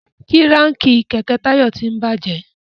Kíráǹkì kẹ̀kẹ́ Tayo tín bàjé